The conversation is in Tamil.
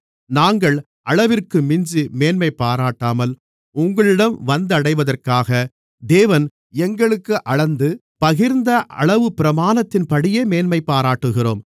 நாங்கள் அளவிற்கு மிஞ்சி மேன்மைபாராட்டாமல் உங்களிடம் வந்தடைவதற்காக தேவன் எங்களுக்கு அளந்து பகிர்ந்த அளவுப்பிரமாணத்தின்படியே மேன்மைபாராட்டுகிறோம்